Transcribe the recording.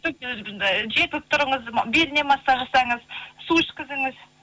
желпіп тұрыңыз беліне массаж жасаңыз су ішкізіңіз